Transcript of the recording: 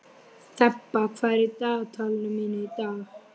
Þeba, hvað er í dagatalinu mínu í dag?